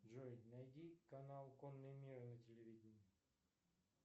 джой найди канал конный мир на телевидении